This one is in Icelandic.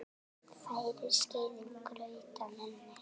Færir skeiðin graut að munni.